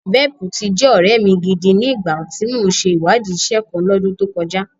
Velp ti jẹ́ ọ̀rẹ́ mi gidi ni ìgbà tí mò ń ṣe ìwádìí iṣẹ́ kan L'ọ́dún tó kọjá